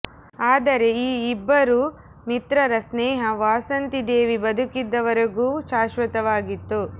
ಆದರೆ ಈ ಇಬ್ಬರೂ ಮಿತ್ರರ ಸ್ನೇಹ ವಾಸಂತಿ ದೇವಿ ಬದುಕಿದ್ದ ವರೆಗೂ ಶಾಶ್ವತವಾಗಿತ್ತು